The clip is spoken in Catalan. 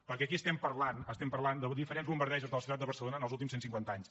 perquè aquí estem parlant de diferents bombardejos de la ciutat de barcelona en els últims cent cinquanta anys